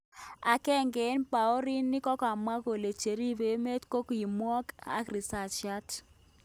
Agenge en paorinik kokamwa kole cheripe emet kokimwak ak risasiat.